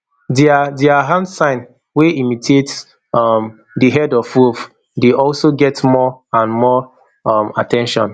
dia dia hand sign wey imitate um di head of wolf dey also get more and more um at ten tion